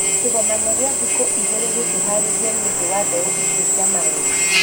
Kĩgomano kĩa thikũ igĩrĩ gĩkĩharĩrĩrio nĩũndũ wa mbeũ icio cia maheeni